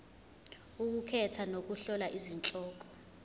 ukukhetha nokuhlola izihloko